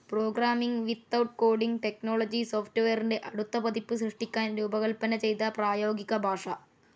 Programming without coding technology സോഫ്റ്റ്‌വെയറിൻ്റെ അടുത്ത പതിപ്പ് സൃഷ്ടിക്കാൻ രൂപകൽപ്പന ചെയ്ത പ്രായോഗിക ഭാഷ.